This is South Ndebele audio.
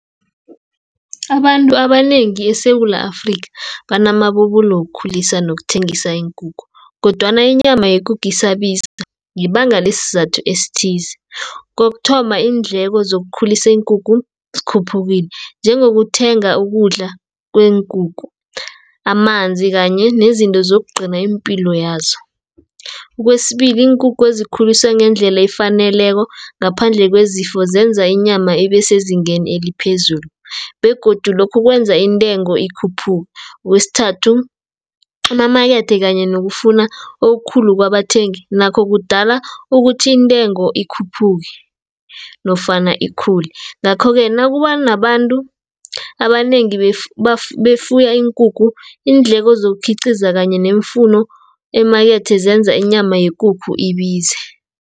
Abantu abanengi eSewula Afrika banamabubulo wokukhulisa nokuthengisa iinkukhu, kodwana inyama yekukhu isabiza ngebanga lesizathu esithize. Kokuthoma iindleko zokukhulisa iinkukhu, zikhuphukile, njengokuthenga ukudla kweenkukhu, amanzi kanye nezinto zokugcina iimpilo yazo. Kwesibili iinkukhu ezikhuliswe ngendlela efaneleko, ngaphandle kwezifo zenza inyama ibesezingeni eliphezulu, begodu lokhu kwenza intengo ikhuphuke. Kwesithathu, amamakethe kanye nokufuna okukhulu kwabathengi, nakho kudala ukuthi intengo ikhuphuke, nofana ikhule. Ngakho-ke nakubanabantu abanengi befuya iinkukhu, iindleko zokukhiqiza kanye neemfuno, eemakethe zenza inyama yekukhu ibize.